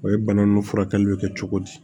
O ye bana nunnu furakɛliw kɛ cogo di